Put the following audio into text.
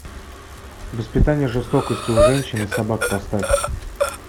воспитание жестокости у женщин и собак поставь